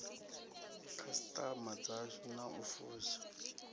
khasiṱama dzashu na u fusha